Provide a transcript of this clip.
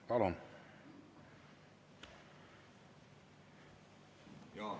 Palun!